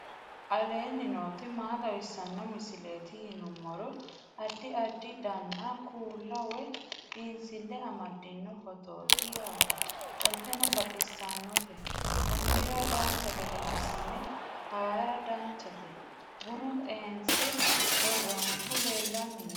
aleenni nooti maa xawisanno misileeti yinummoro addi addi dananna kuula woy biinsille amaddino footooti yaate qoltenno baxissannote konnira dancha gede assine haara danchate bunu xeense worroninihu leellanni nooe